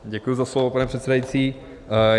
Děkuji za slovo, pane předsedající.